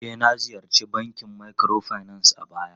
E, na ziyarci bankin microfinance a baya.